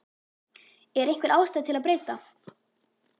Er einhver ástæða til að breyta?